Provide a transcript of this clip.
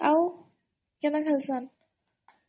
ଆଉ? କେନ୍ତା ଖେଲସନ୍?